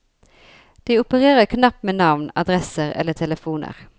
De opererer knapt med navn, adresser eller telefoner.